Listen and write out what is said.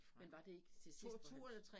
Men var det ikke til sidst hvor han